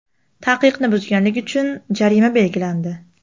Taqiqni buzganlik uchun jarima belgilandi.